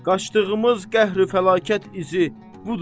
Qaçdığımız qəhri fəlakət izi budur.